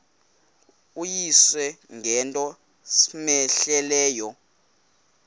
uyise ngento cmehleleyo